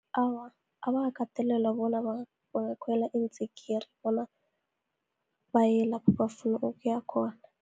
Awa, abakakatelelwa bona bangakhwela iintsikiri, bona baye lapho bafuna ukuya khona.